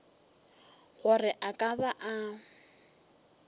gore a ka ba a